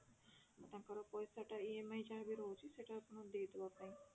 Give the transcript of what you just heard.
ଟଙ୍କାର ପଇସା ଟା EMI ଯାହାବି ରହୁଛି ସେଇଟା ଆପଣଙ୍କୁ ଦେଇଦେବା ପାଇଁ